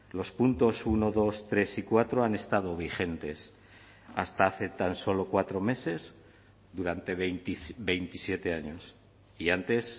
los puntos uno dos tres y cuatro han estado vigentes hasta hace tan solo cuatro meses durante veintisiete años y antes